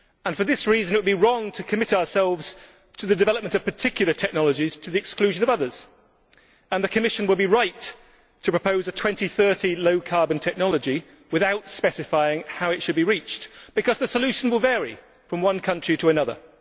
For this reason it would be wrong to commit ourselves to the development of particular technologies to the exclusion of others, and the Commission would be right to propose a 2030 low carbon technology without specifying how it should be reached, because the solution will vary from one country to another.